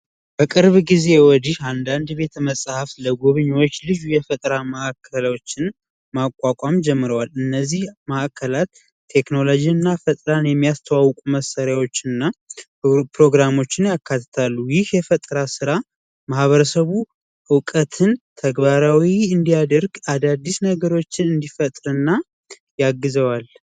በቅርብ ጊዜ ወዲህ አንዳንድ ቤት መሐፍት ለጉብኝት ልጅ የፈጠራ ማዕከላችን ማቋቋም ጀምሯል እነዚህ ማእከላት ቴክኖሎጂ እና ፈጣን የሚያስተዋውቁ መሳሪያዎችንና ፕሮግራሞችን ያካተተ የፈጠራ ስራ ማህበረሰቡ እውቀትን ተግባራዊ እንዲያደርግ አዳዲስ ነገሮችን እንዲፈጥርና የአግዘዋል